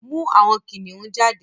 mú àwọn kìnìún jáde!